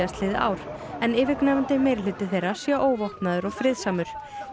ár en yfirgnæfandi meirihluti þeirra sé óvopnaður og friðsamur